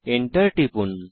Enter টিপুন